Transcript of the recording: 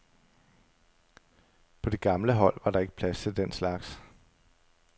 På det gamle hold var der ikke plads til den slags.